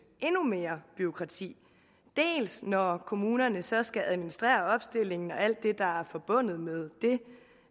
endnu mere bureaukrati dels når kommunerne så skal administrere opstillingen og alt det der er forbundet med det